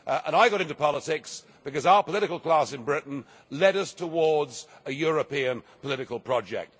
I got into politics because our political class in Britain led us towards a European political project.